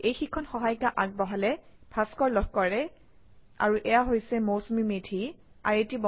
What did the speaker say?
এই পাঠ্যক্ৰমটো ভাস্কৰ জোতি লহকৰৰ দ্বাৰা পৰিৱেশিত